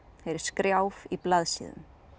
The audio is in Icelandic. heyri skrjáf í blaðsíðum